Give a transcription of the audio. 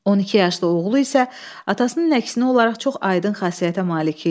12 yaşlı oğlu isə atasının əksinə olaraq çox aydın xasiyyətə malik idi.